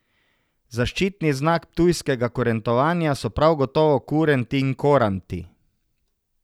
Zaščitni znak ptujskega Kurentovanja so prav gotovo kurenti in koranti.